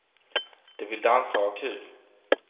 De vill dansa och ha kul.